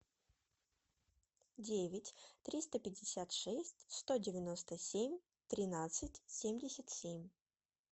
девять триста пятьдесят шесть сто девяносто семь тринадцать семьдесят семь